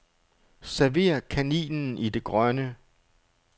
Server kaninen i det grønne.